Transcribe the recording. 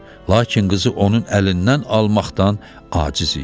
Lakin qızı onun əlindən almaqdan aciz idi.